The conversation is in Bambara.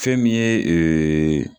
Fɛn min ye